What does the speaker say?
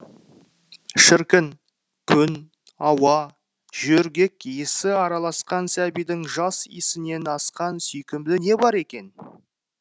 шіркін күн ауа жөргек иісі араласқан сәбидің жас иісінен асқан сүйкімді не бар екен